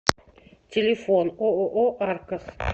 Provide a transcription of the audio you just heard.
телефон ооо аркос